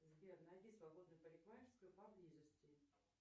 сбер найди свободную парикмахерскую поблизости